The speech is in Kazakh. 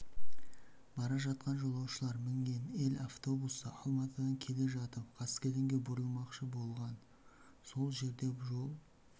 бара жатқан жолаушылар мінген ель микроавтобусы алматыдан келе жатып қаскелеңге бұрылмақшы болған сол жерде жол